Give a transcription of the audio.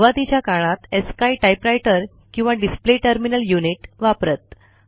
सुरूवातीच्या काळात ASCII typewriter किंवा डिस्प्ले टर्मिनल युनिट वापरत